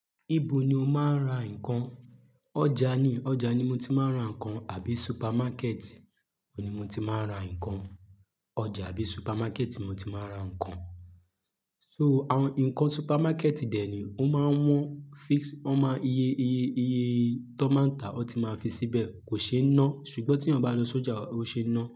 Ibo ni o máa ń ra nǹkan? Ọjà ni, ọjà ni mo ti máa ń ra nǹkan àbí supermarket òní mo ti máa ń ra nǹkan. Ọjà àbí supermarket mo ti máa ń ra nǹkan. So àwọn nǹkan supermarket dẹ̀ ni ó máa ń wọ́n fix, ó máa iye, iye, iye tó máa ń ta ó ti máa fi síbẹ̀ kò ṣe é ná. Ṣùgbọ́n tí eeyàn bá lo sójà, ó ṣe ẹ́ ná.